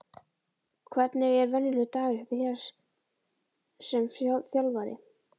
Hvernig er venjulegur dagur hjá þér sem þjálfari?